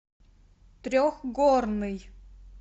трехгорный